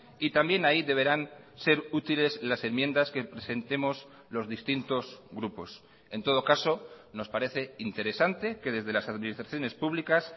y también ahí deberán ser útiles las enmiendas que presentemos los distintos grupos en todo caso nos parece interesante que desde las administraciones públicas